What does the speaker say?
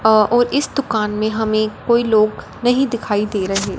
और इस दुकान में हमें कोई लोग नहीं दिखाई दे रहे--